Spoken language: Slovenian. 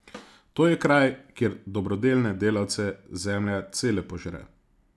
To je kraj, kjer dobrodelne delavce zemlja cele požre.